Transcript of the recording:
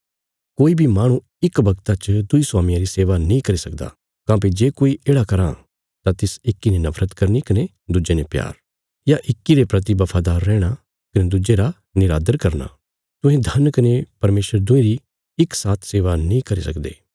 कोई बी माहणु इक वगता च दुईं स्वामियां री सेवा नीं करी सकदा काँह्भई जे कोई येढ़ा कराँ तां तिस इक्की ने नफरत करनी कने दुज्जे ने प्यार या इक्की रे परति बफादार रैहणा कने दुज्जे रा निरादर करना तुहें धन कने परमेशर दुईं री इक साथ सेवा नीं करी सकदे